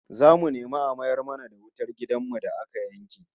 Zamu nemi a mayar mana da wutar gidan mu da aka yanke